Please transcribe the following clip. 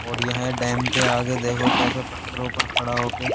और यहाँ डैम के आगे देखो कैसे पत्थरों पर खड़ा होके --